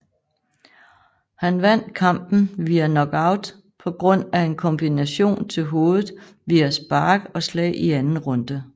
Han vandt kampen via knockout på grund af en kombination til hovedet via spark og slag i anden runde